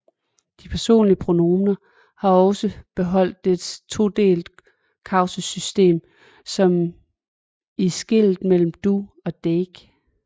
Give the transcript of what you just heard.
De personlige pronomener har også beholdt et todelt kasussystem som i skillet mellom du og deg